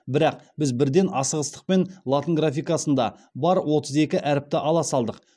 бірақ біз бірден асығыстықпен латын графикасында бар отыз екі әріпті ала салдық